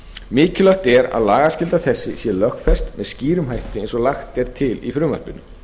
mikilvægt er að lagaskylda þessi sé lögfest með skýrum hætti eins og lagt er til í frumvarpinu